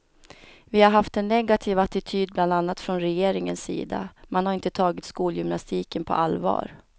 Vi har haft en negativ attityd bland annat från regeringens sida, man har inte tagit skolgymnastiken på allvar.